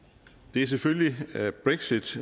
det er selvfølgelig brexit